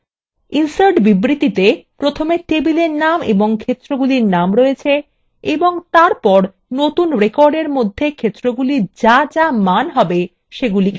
insert বিবৃতিতে table names ও ক্ষেত্রগুলির names রয়েছে এবং তারপর নতুন recordএর মধ্যে ক্ষেত্রগুলির the the মান হবে সেগুলিকে তালিকাবদ্ধ করা হয়েছে